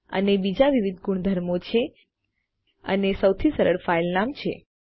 અને બીજામાં વિવિધ ગુણધર્મો છે અને સૌથી સરળ ફાઈલ નામ છે